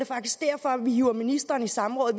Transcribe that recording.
faktisk derfor at vi hiver ministeren i samråd